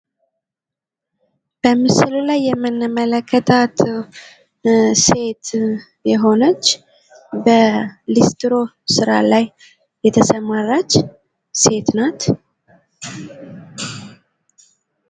በምስሉ ላይ የምንመለከታት ሴት የሆነች በሊስትሮ ስራ ላይ የተሰማራች ሴት ናት።